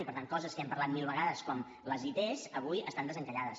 i per tant coses que hem parlat mil vegades com les it avui estan desencallades